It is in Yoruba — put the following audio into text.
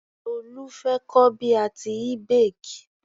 Tolu fẹ́ kọ́ bí a tíì bake.